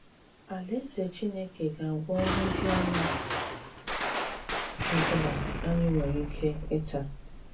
Àlàèzè Chìnékè ga-agwọ nhụjuanya ọ̀bụ̀la ànyị̀ nwere ìkè ịtà.